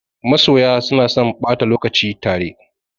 Masoya suna son ɓata lokaci tare.